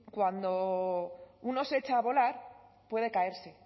cuando uno se echa a volar puede caerse